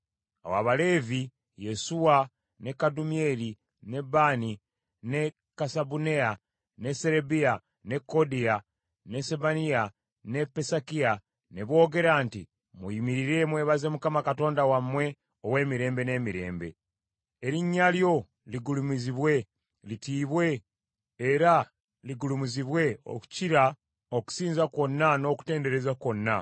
Awo Abaleevi, Yesuwa, ne Kadumyeri, ne Baani, ne Kasabuneya, ne Serebiya, ne Kodiya, ne Sebaniya ne Pesakiya ne boogera nti, “Muyimirire, mwebaze Mukama Katonda wammwe ow’emirembe n’emirembe.” “Erinnya lyo ligulumizibwe, litiibwe era ligulumizibwe okukira okusinza kwonna n’okutendereza kwonna.